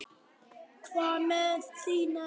Hvað með þína stöðu?